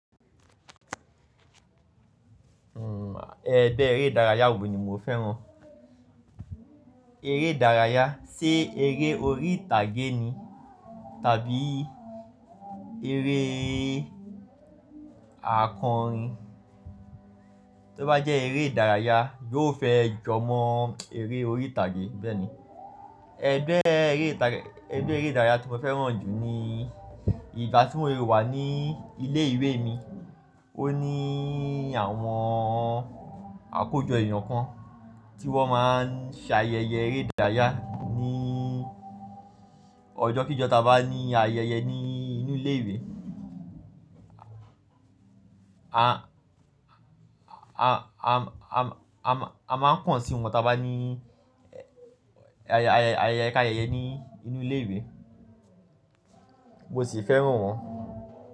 Ẹ̀gbẹ́ eré ìdárayá wo ni mo fẹ́ràn? Eré ìdárayá, sé eré orí ìtàgé ni tàbí eré àkọrin? Tó bá jẹ́ eré ìdárayá, yóò fẹ́ jọmọ eré orí ìtàgé, bẹ́ẹ̀ ni. Ẹgbẹ́ eré ìdárayá tí mo fẹ́ràn jù ni ìgbà tí mòun wà ní ilé ìwé mi. Ó ní àwọn àkójọ èèyàn kan tí wọ́n máa ń ṣe ayẹyẹ eré ìdárayá ní ọjọ́ kí jọ tá bá ní ayẹyẹ ní inú ilé ìwé. A máa ń kàn sí wọn tá bá ní ayẹyẹ ká yẹyẹ ní inú ilé ìwé, mo sì fẹ́ràn wọ́n.